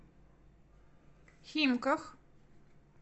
химках